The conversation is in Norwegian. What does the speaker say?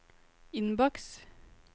innboks